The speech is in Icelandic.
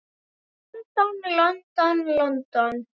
London, London, London.